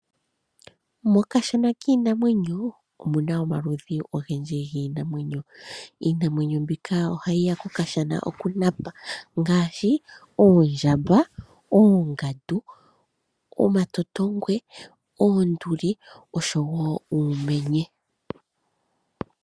Mokashana kiinamwenyo omuna omaludhi ogendji giinamwenyo. Iinamwenyo mbika ohayi ya kokashana okunapa ngaashi oondjamba, oongandu, omatotongwe, oonduli oshowo uumenye.